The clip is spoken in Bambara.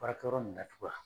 Baarakɛ yɔrɔ nin datugu wa.